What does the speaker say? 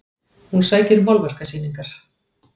Hún sækir málverkasýningar